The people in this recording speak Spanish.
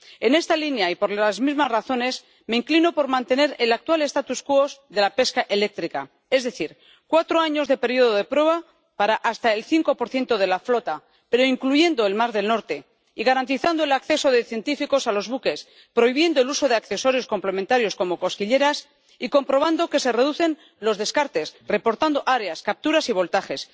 En esta línea, y por las mismas razones, me inclino por mantener el actual statu quo de la pesca eléctrica, es decir, cuatro años de período de prueba para hasta el 5 de la flota, pero incluyendo el mar del Norte y garantizando el acceso de científicos a los buques, prohibiendo el uso de accesorios complementarios como las cosquilleras y comprobando que se reducen los descartes, reportando áreas, capturas y voltajes.